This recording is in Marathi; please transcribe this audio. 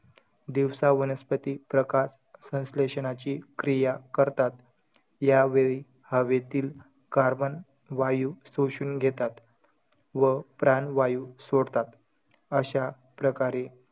दिवसा वनस्पती प्रकाश संश्लेषणाची क्रिया करतात. यावेळी, हवेतील carbon वायू शोषूण घेतात व प्राणवायू सोडतात. अशा प्रकारे,